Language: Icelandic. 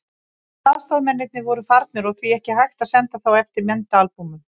Allir aðstoðarmennirnir voru farnir og því ekki hægt að senda þá eftir myndaalbúmunum.